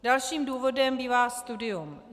Dalším důvodem bývá studium.